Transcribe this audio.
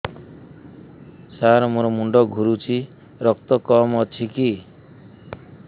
ସାର ମୋର ମୁଣ୍ଡ ଘୁରୁଛି ରକ୍ତ କମ ଅଛି କି